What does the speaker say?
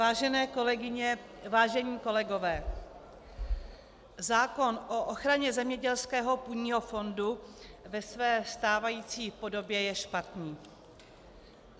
Vážené kolegové, vážení kolegové, zákon o ochraně zemědělského půdního fondu ve své stávající podobě je špatný.